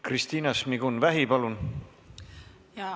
Kristina Šmigun-Vähi, palun!